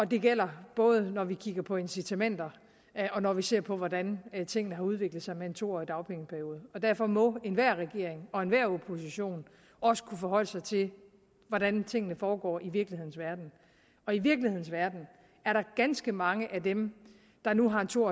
det gælder både når vi kigger på incitamenter og når vi ser på hvordan tingene har udviklet sig med en to årig dagpengeperiode derfor må enhver regering og enhver opposition også kunne forholde sig til hvordan tingene foregår i virkelighedens verden og i virkelighedens verden er der ganske mange af dem der nu har en to